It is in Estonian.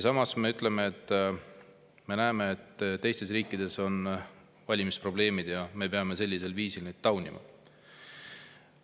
Samas me ütleme, et me näeme, et teistes riikides on valimisprobleemid ja me peame neid valimisi taunima.